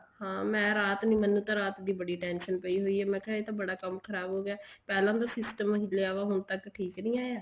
ਹਾਂ ਮੈਂ ਰਾਤ ਨੀ ਮੈਨੂੰ ਤਾਂ ਰਾਤ ਦੀ ਬੜੀ tension ਪਈ ਹੋਈ ਆ ਮੈਂ ਕਿਹਾ ਇਹ ਤਾਂ ਬੜਾ ਕੰਮ ਖਰਾਬ ਹੋਗਿਆ ਪਹਿਲਾਂ ਦਾ system ਹਿੱਲਿਆ ਹੋਇਆ ਹੁਣ ਤੱਕ ਠੀਕ ਨੀ ਆਇਆ